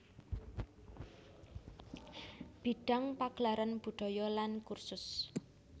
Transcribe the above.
Bidang pagelaran budaya lan kursus